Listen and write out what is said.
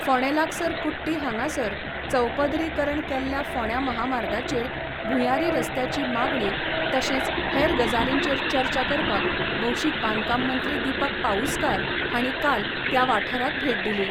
फोंडे लागसार कुट्टी हांगासर चौपदरीकरण केल्ल्या फोंड्यां म्हामार्गाचेर भुंयारी रस्त्याची मागणी तशेंच हेर गजालींचेर चर्चा करपाक भौशीक बांदकाम मंत्री दीपक पाऊसकार हांणी काल त्या वाठाराक भेट दिली.